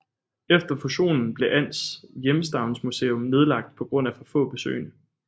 Efter fusionen blev Als Hjemstavnsmuseum nedlagt på grund af for få besøgende